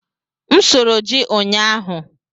M sụrụ ji ụnyaahụ.